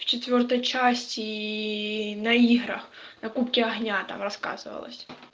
в четвёртой части на играх на кубке огня там рассказывалось